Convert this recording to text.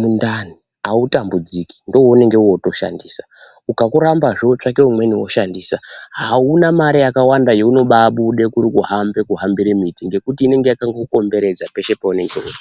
mundani, autambudziki, ndoweunonga wotoshandisa. Ukakurambazve ,wotsvake umweni, woshandisa. Hauna mare yakawanda yeunobaabude kuri kuhambe, kuhambire miti, ngekuti inonga yakakukomberedza peshe peunonga uri.